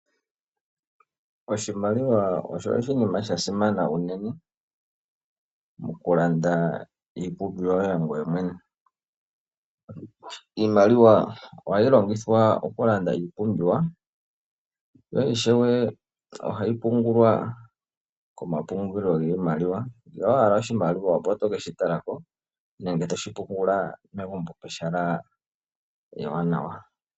Oshimaliwa osho oshinima sha simana unene, oku landa iipumbiwa yoye ngweye mwene. Iimaliwa oha yi longithwa oku landa iipumbiwa, yo ishewe 9ha yi pungulwa komapungulilo giimaliwa, ngele owa hala oshimaliwa, oto ke shi talako nenge to shipungula megumbo pehala ewanawa.